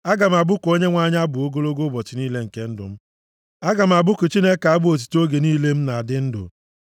Aga m abụku Onyenwe anyị abụ ogologo ụbọchị niile nke ndụ m; aga m abụku Chineke m abụ otuto oge niile m na-adị ndụ.